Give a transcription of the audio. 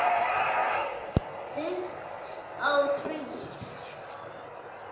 Pútt á hring